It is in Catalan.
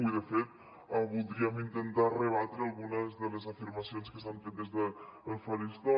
i de fet voldríem intentar rebatre algunes de les afirmacions que s’han fet des del faristol